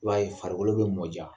I b'a ye farikolo be mɔ diya.